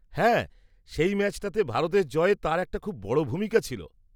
-হ্যাঁ, সেই ম্যাচটাতে ভারতের জয়ে তাঁর একটা খুব বড় ভূমিকা ছিল।